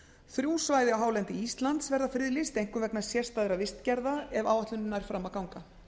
þrjú svæði á hálendi íslands verða friðlýst einkum vegna sérstæðra vistgerða ef áætlunin nær fram að ganga